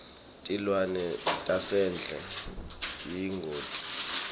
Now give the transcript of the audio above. tilwane tasendle tiyingoti